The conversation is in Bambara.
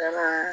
Kalaman